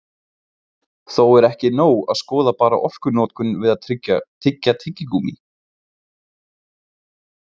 Þó er ekki nóg að skoða bara orkunotkun við að tyggja tyggigúmmí.